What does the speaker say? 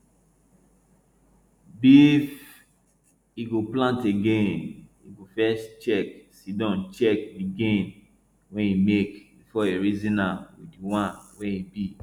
bif e go plant again e go first siddon check di gain wey e make before e reason am with di one wey e bin